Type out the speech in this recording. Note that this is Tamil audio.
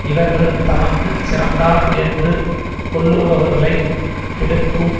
இவர்கள் தமக்கு சிறந்தார் என்று கொள்ளுபவர்களை கெடுக்கும்